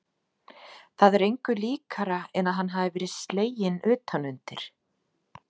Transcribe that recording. Það er engu líkara en að hann hafi verið sleginn utan undir.